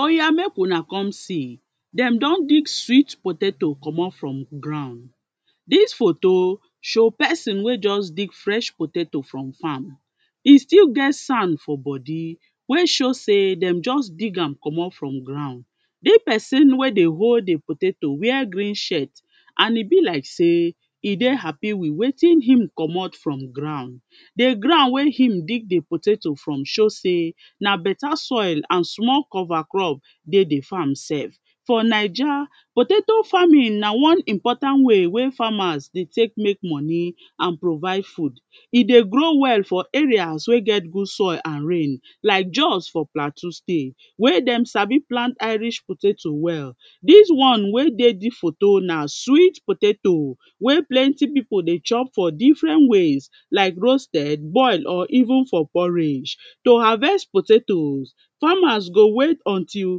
Oya mek una come see, dey don dig sweet potato comot from ground. Dis photo show person wey just dig fresh potato from farm, e still get sand for body wey show sey dey just dig am comot for ground. Dis person wey dey hold di potato wear green shirt and e be like sey e dey happy with wetin e comot from ground. Di ground wey e dig di potato from show sey na better soil and small cover crop dey di farm sef. For naija potato farming na one important way wey farmer dey take mek money and provide food. E dey grow well for areas wey get good soil and rain like jos, for plateau state, wey dey sabi plant Irish potato well. Dis one wey dey dis photo na sweet potato wey plenty pipo dey chop for different ways like roasted, boil or even for porridge. To harvest potatoes, farmers go wait until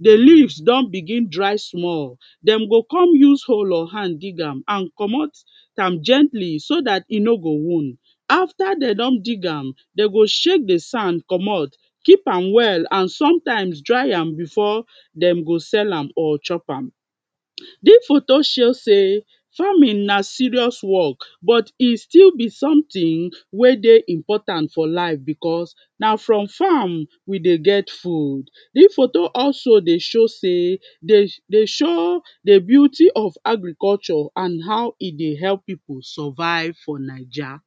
di leaves don begin dry small. Dem go come use hoe or hand dig am and comot am gently so dat e no go wound. After dey don dig am dey go shake di sand comot, keep am well and sometimes dry am before dem go sell am or chop am. Dis photo show sey farming na serious work but e still be something wey dey important for life becos na from farm we dey get food. Dis photo also dey show sey, dey show di beauty of agriculture and how e dey help pipo survive for naija.